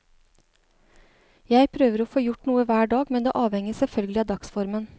Jeg prøver å få gjort noe hver dag, men det avhenger selvfølgelig av dagsformen.